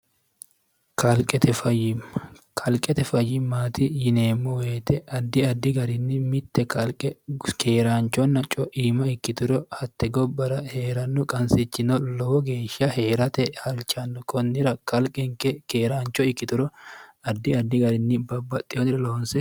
qfqalqete fayyimmaati yineemmo weete addi addi garinni mitte qalqe keeraanchonna co'iima ikkituro hatte gobbara hee'rannu qansichino lowo geeshsha hee'rate halchanno kunnira qalqenke keeraancho ikkituro addi addi garinni babbaxxehonire loonse